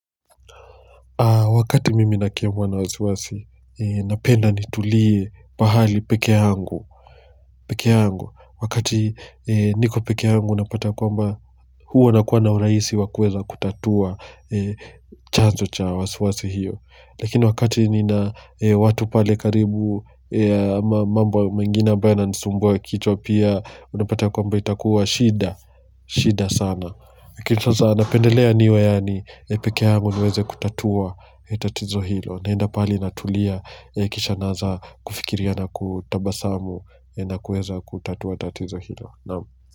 Wakati mimi na kiamwa na wasiwasi, napenda nitulie pahali peke yangu. Peke yangu, wakati niko peke yangu napata kwamba huwa na kuwa na urahisi wakuweza kutatua chanzo cha wasiwasi hiyo. Lakini wakati nina watu pale karibu, mambo mengine ambayo yana nisumbua kichwa pia, unapata kwamba itakuwa shida, shida sana. Kitu za napendelea niwe yaani peke yangu niweze kutatua tatizo hilo. Naenda pahali natulia. Kisha naanza kufikiria na kutabasamu. Na kuweza kutatua tatizo hilo. Naam.